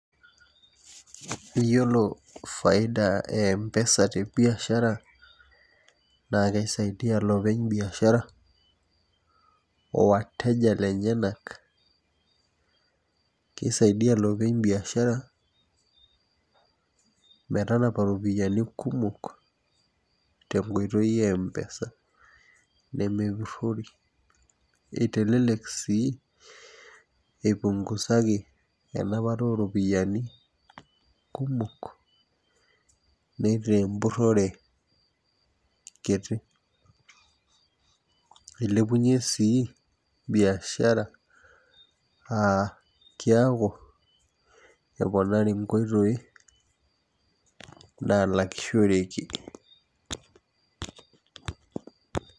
Iyiolo faida e mpesa te biashara naa kisaidia iloopeny biashara o wateja lenyanak. kisaidia iloopeny biashara metanapa iropiyiani kumok tenkoitoi empesa. nemeputori. itelelek sii, ipungusaki enapata ooropiyiani kumok naitaa empurore kiti. ilepunye sii biashara aa kiaku keponari nkoitoi, naalakishoreki.